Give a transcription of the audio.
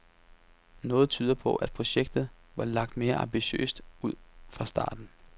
Noget tyder på, at projektet var lagt mere ambitiøst ud fra starten.